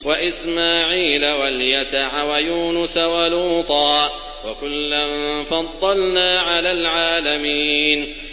وَإِسْمَاعِيلَ وَالْيَسَعَ وَيُونُسَ وَلُوطًا ۚ وَكُلًّا فَضَّلْنَا عَلَى الْعَالَمِينَ